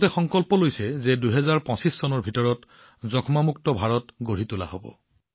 ভাৰতে সংকল্প লৈছে যে ২০২৫ চনৰ ভিতৰত এখন যক্ষ্মামুক্ত ভাৰত গঢ়াৰ